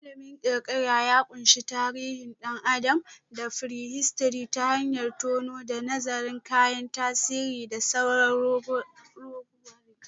Ilimin kirkira ya ƙunshi tarihin ɗan adam da prehistory ta hanyar tonowa da nazarin kayan tarihi da sauran ragowar jiki.